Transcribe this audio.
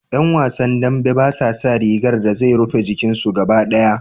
Ƴan wasan dambe basa saka rigar da zai rufe jikin su gaba ɗaya.